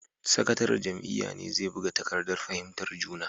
Sakataren jam’iyyar ne zai buga takardar fahimtar juna.